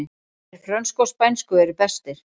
Þeir frönsku og spænsku eru bestir